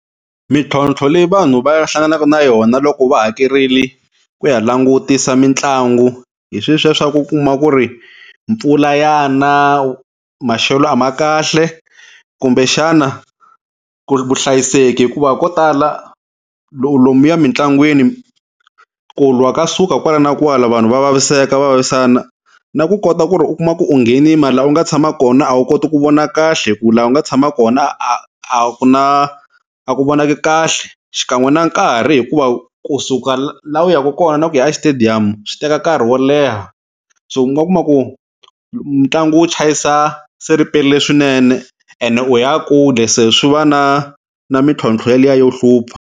Mintlhontlho leyi vanhu va hlanganaka na yona loko va hakerile ku ya langutisa mitlangu hi sweswiya swa ku u kuma ku ri mpfula ya na, maxelo a ma kahle kumbe xana ku ri vuhlayiseki hikuva ko tala lomuya mitlangwini ku lwa ka suka kwala na kwala vanhu va vaviseka va vavisana na ku kota ku ri u kuma ku u nghenini mara laha u nga tshama kona a wu koti ku vona kahle hi ku laha u nga tshama kona a ku na a ku vonaki kahle xikan'we na nkarhi hikuva kusuka laha u yaka kona ku ya e-Stadium swi teka nkarhi wo leha so u nga kuma ku ntlangu wu chayisa se riperile swinene ene u ya kule se swi va na na mimtlhontlho yaliya yo hlupha.